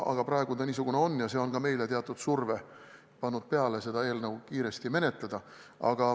Aga praegu on olukord niisugune ja see on pannud ka meile peale teatud surve seda eelnõu kiiresti menetleda.